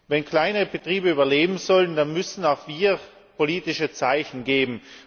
Wenn kleine Betriebe überleben sollen, dann müssen auch wir politische Zeichen geben.